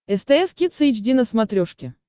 стс кидс эйч ди на смотрешке